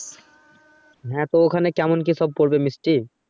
হ্যা তো ওখানে কেমন কিসব পড়বে মিষ্টি।